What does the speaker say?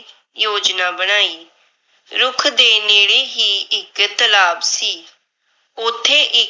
l